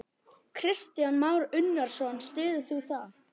Kristján Már Unnarsson: Styður þú það?